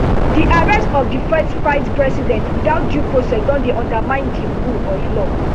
di arrest of di first vicepresident without due process don dey undermine di rule of law